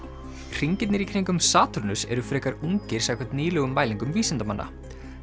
hringirnir í kringum Satúrnus eru frekar ungir samkvæmt nýlegum mælingum vísindamanna